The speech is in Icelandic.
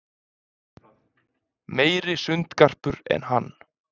Meiri sundgarpur en hann.